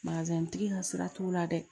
tigi ka sira t'u la dɛ